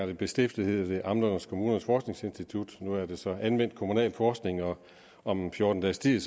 det blev stiftet hed det amternes og kommunernes forskningsinstitut nu er det så anvendt kommunalforskning og om en fjorten dages tid